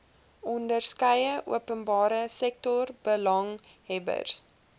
onderskeie openbare sektorbelanghebbers